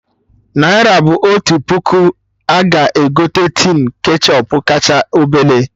Naira otu puku a ga-egote tin ketchọp kacha obele?